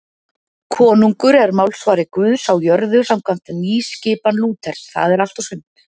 Konungur er málsvari Guðs á jörðu samkvæmt nýskipan Lúters, það er allt og sumt.